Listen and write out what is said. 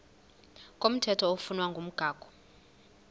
komthetho oflunwa ngumgago